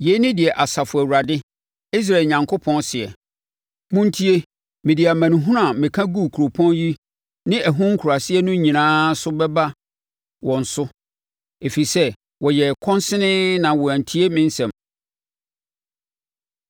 “Yei ne deɛ Asafo Awurade, Israel Onyankopɔn seɛ, ‘Montie! Mede amanehunu a meka guu kuropɔn yi ne ɛho nkuraase no nyinaa so no bɛba wɔn so, ɛfiri sɛ wɔyɛɛ kɔnsenee na wɔantie me nsɛm.’ ”